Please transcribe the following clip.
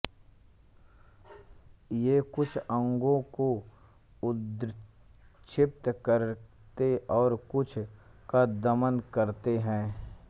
ये कुछ अंगों को उद्दीप्त करते और कुछ का दमन करते हैं